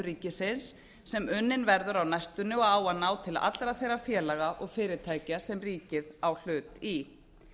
ríkisins sem unnin verður á næstunni og á að ná til allra þeirra félaga og fyrirtækja sem ríkið hlut í